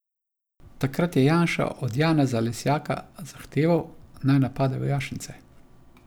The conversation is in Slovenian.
Takrat je Janša od Janeza Lesjaka zahteval, naj napade vojašnice.